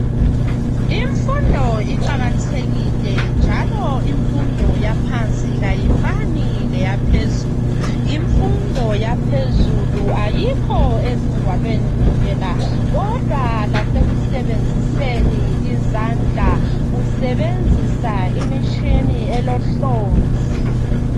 Imfundo iqakathekile njalo imfundo yaphansi ayifani leyaphezulu. Imfundo yaphezulu ayikho ezingwalweni kuphela kodwa lasekusebenziseni izandla usebenzisa imitshini elohlonzi.